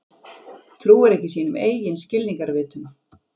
Trúir ekki sínum eigin skilningarvitum.